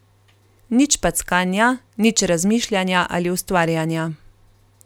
Nič packanja, nič razmišljanja ali ustvarjanja.